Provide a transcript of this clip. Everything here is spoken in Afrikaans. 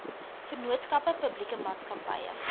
vennootskappe publieke maatskappye